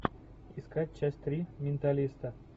искать часть три менталиста